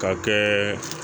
Ka kɛ